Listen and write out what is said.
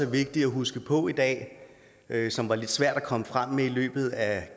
vigtigt at huske på i dag som var lidt svært at komme frem med i løbet af